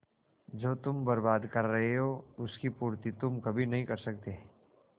जो तुम बर्बाद कर रहे हो उसकी पूर्ति तुम कभी नहीं कर सकते